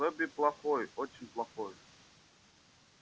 добби плохой очень плохой